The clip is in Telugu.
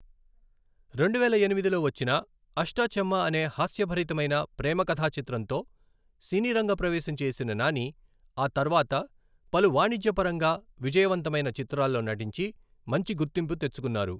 రెండు వేల ఎనిమిదిలో వచ్చిన అష్ట చమ్మ అనే హాస్యభరితమైన ప్రేమ కథా చిత్రంతో సినీ రంగ ప్రవేశం చేసిన నాని, ఆ తర్వాత పలు వాణిజ్యపరంగా విజయవంతమైన చిత్రాల్లో నటించి మంచి గుర్తింపు తెచ్చుకున్నారు.